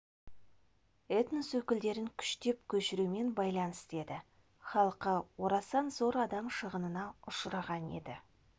этнос өкілдерін күштеп көшірумен байланысты еді халқы орасан зор адам шығынына ұшыраған еді